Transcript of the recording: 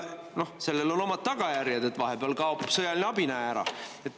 Sellel on omad tagajärjed, vahepeal kaob sõjaline abi, näe, ära.